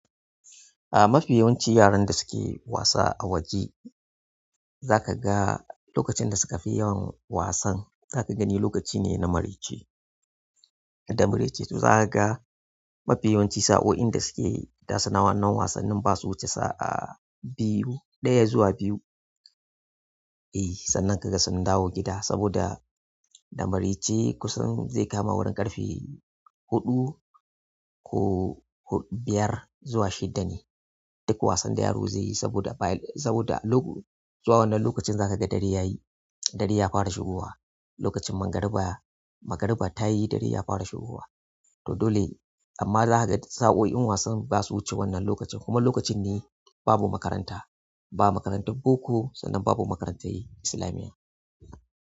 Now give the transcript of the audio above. A mafi yawanci yaran da suke wasa a waje za ka ga lokacin da suka fi yawan wasan, za ka gani lokaci ne na marece da marece. To za ka ga mafi yawanci sa'o'in da suke nasu na wannan wasannin ba su wuce sa'a biyu, ɗaya zuwa biyu. E sannan ka ga sun dawo gida saboda da marece kusan zai kama wurin ƙarfe huɗu ko biyar zuwa shida ne duk wasan da yaro zai yi saboda, saboda zuwa wannan lokaci zakaga dare yayi dare ya fara shigowa lokacin magariba, magariba ta yi dare ya fara shigowa to dole amma za ka ga duk sa'o'in wasan ba su wuce wannan lokacin. Kuma lokacin ne babu makaranta, ba makarantun boko sannan babu makarantun islamiyya.